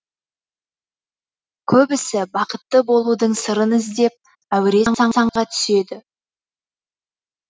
көбісі бақытты болудың сырын іздеп әуре сарсаңға түседі